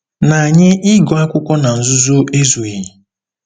Na anyị ịgụ akwụkwọ na nzuzo ezughị.